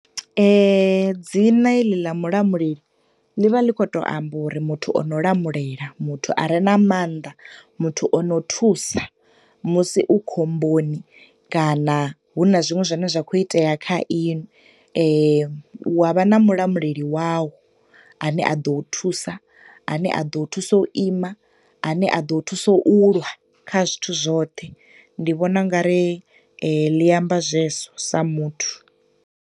Dzina heḽi ḽa Mulamuleli ḽi vha ḽi khou to amba uri muthu ono lamulela, muthu are na maanḓa, muthu o no thusa musi u khomboni, kana hu na zwiṅwe zwine zwa khou itea kha inwi, wa vha na mulamuleli wawu a ne a ḓo u thusa, a ne a ḓo u thusa u ima, a ne a ḓo thusa u lwa kha zwithu zwoṱhe. Ndi vhona ungari ḽi amba zwezwo sa muthu.